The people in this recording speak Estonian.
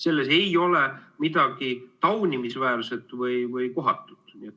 Selles ei ole midagi taunimisväärset või kohatut.